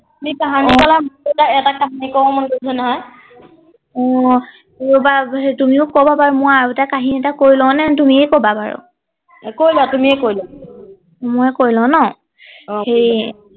এটা কাহিনী আহ ৰবা তুমিও কবা বাৰু মোৰ আৰু এটা কাহিনী এটা কৈ লওঁনে তুমি এই কবা বাৰু কৈ লোৱা তুমি এই কৈ লোৱা মই কৈ লওঁ ন অ ঠিক